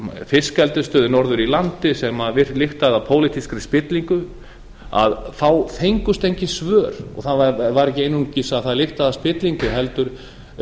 fiskeldisstöð norður í landi sem lyktaði af pólitískri spillingu að þá fengust engin svör það var ekki einungis að það lyktaði af spillingu heldur